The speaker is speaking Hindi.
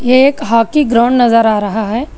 ये एक हॉकी ग्राउंड नजर आ रहा है।